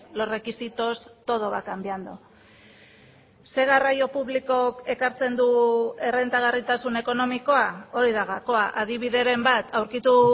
los requisitos todo va cambiando ze garraio publikok ekartzen du errentagarritasun ekonomikoa hori da gakoa adibideren bat aurkitu